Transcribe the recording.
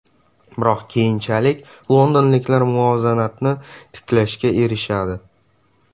Biroq keyinchalik londonliklar muvozanatni tiklashga erishadi.